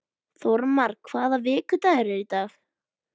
Þórmar, hvaða vikudagur er í dag?